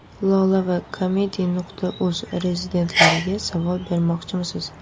Lola va Comedy.uz rezidentlariga savol bermoqchimisiz?